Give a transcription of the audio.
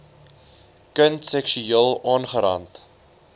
kind seksueel aangerand